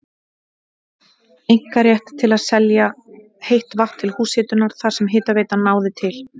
einkarétt til að selja heitt vatn til húshitunar þar sem hitaveitan náði til.